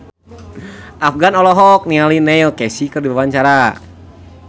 Afgan olohok ningali Neil Casey keur diwawancara